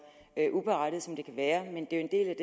uberettiget som det kan være men det er